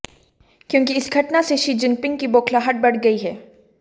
क्योंकि इस घटना से शी जिनपिंग की बौखलाहट बढ़ गई है